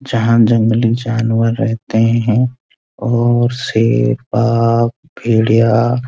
जहाँ जंगली जानवर रहते हैं और शेर बाग भेड़िया --